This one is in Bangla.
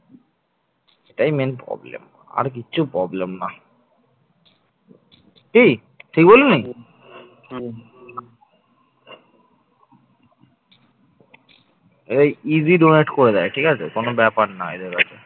এই easy donate করে দেয় ঠিক আছে কোন ব্যাপার না। এদের কাছে